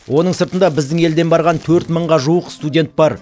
оның сыртында біздің елден барған төрт мыңға жуық студент бар